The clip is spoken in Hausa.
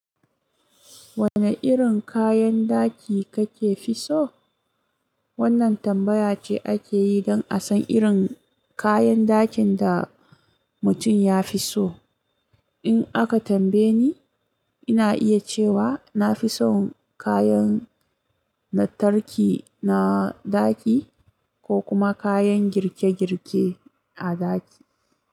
Wane irin kayan daki kake fi so? Wannan tambaya ce ake yi don a san irin kayan dakin da mutum ya fi so. In aka tambaye ni, ina iya cewa na fi son kayan lantarki na daki ko kuma kayan girke-girke a daki.